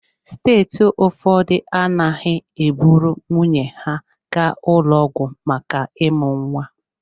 Steeti ụfọdụ anaghị eburu nwunye ha gaa ụlọ ọgwụ maka ịmụ nwa.